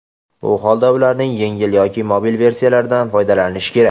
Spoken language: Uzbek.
bu holda ularning yengil yoki mobil versiyalaridan foydalanish kerak.